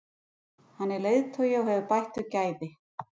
Hann er leiðtogi og hefur bætt þau gæði.